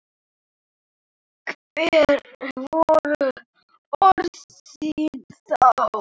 Hver voru orð þín þá?